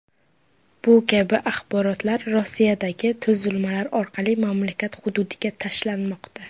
Bu kabi axborotlar Rossiyadagi tuzilmalar orqali mamlakat hududiga tashlanmoqda.